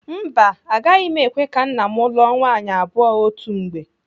Mba, agaghị m ekwe ka nna m lụọ nwaanyị abụọ otu mgbe.